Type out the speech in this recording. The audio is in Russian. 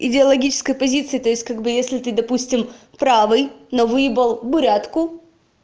идеологическая позиция то есть как бы если ты допустим правый но выебал братку